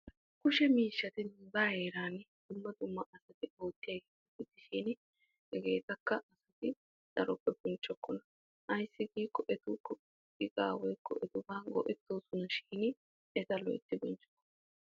Kushe miishshatti nuuga heeran dumma dumma oosuwa oottosonashi etta loytti bonchchokkonna hagee likke gidenna bonchchanna koshees.